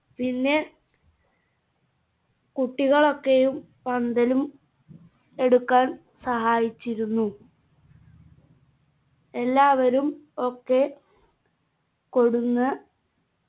പിന്നെ കുട്ടികളൊക്കെയും പന്തലും എടുക്കാൻ സഹായിച്ചിരുന്നു എല്ലാവരും ഒക്കെ കൊടുന്ന